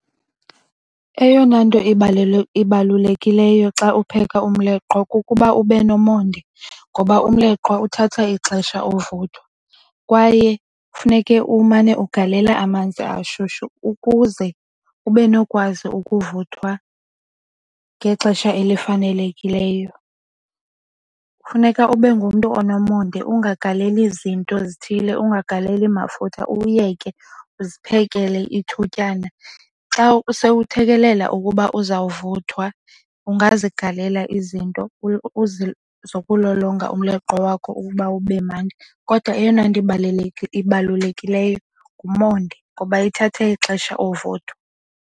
Eyona nto ibalulekileyo xa upheka umleqwa kukuba ube nomonde ngoba umleqwa uthatha ixesha uvuthwa. Kwaye kufuneke umane ugalela amanzi ashushu ukuze ube nokwazi ukuvuthwa ngexesha elifanelekileyo. Kufuneka ube ngumntu onomonde ungagaleli zinto zithile, ungagaleli mafutha uwuyeke uziphekele ithutyana. Xa sowuthekelela ukuba uzawuvuthwa ungazigalela izinto zokulolonga umleqwa wakho ukuba ube mnandi. Kodwa eyona nto ibalulekileyo ngumonde ngoba ithathe ixesha uvuthwa.